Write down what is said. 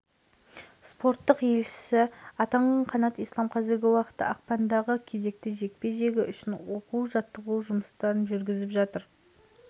спорттық елшісі атанған қанат ислам қазіргі уақытта ақпандағы кезекті жекпе-жегі үшін оқу-жаттығу жұмыстарын жүргізіп жатыр